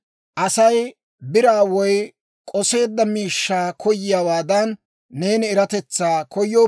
Asay biraa woy k'oseedda miishshaa koyiyaawaadan, neeni eratetsaa koyya.